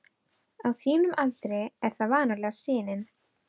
Á þínum aldri er það vanalega sinin.